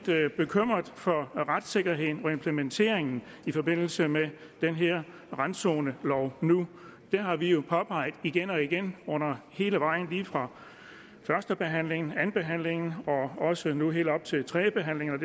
bekymret for retssikkerheden og implementeringen i forbindelse med den her randzonelov nu det har vi jo påpeget igen og igen hele vejen lige fra førstebehandlingen og andenbehandlingen og også nu ved tredjebehandlingen